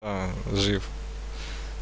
аа жив